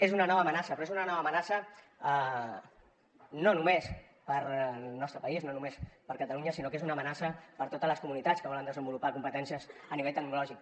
és una nova amenaça però és una nova amenaça no només per al nostre país no només per a catalunya sinó que és una amenaça per a totes les comunitats que volen desenvolupar competències a nivell tecnològic